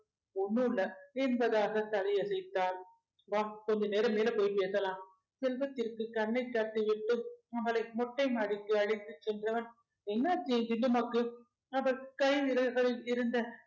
ஒண்ணுயில்ல என்பதாக தலையசைத்தாள் வா கொஞ்ச நேரம் மேல போயி பேசலாம் செல்வத்திற்கு கண்ணை காட்டி விட்டு அவளை மொட்டைமாடிக்கு அழைத்துச் சென்றவன் என்ன ஆச்சு என் ஜில்லும்மாக்கு அவள் கை விரல்களில் இருந்த